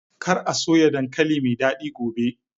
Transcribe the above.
Kar a soya dankali mai dadi gobe!